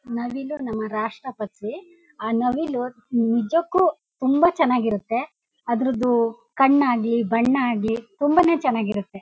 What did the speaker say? ನವಿಲು ನಮ್ಮ ರಾಷ್ಟ್ರ ಪಕ್ಷಿ ಆ ನವಿಲು ನಿಜಕ್ಕೂ ತುಂಬಾ ಚೆನ್ನಾಗಿ ಇರುತ್ತೆ ಅದರುದ್ದು ಕಣ್ಣ್ ಆಗ್ಲಿ ಬಣ್ಣ ಆಗ್ಲಿ ತುಂಬಾ ನೇ ಚೆನ್ನಾಗಿ ಇರುತ್ತೆ.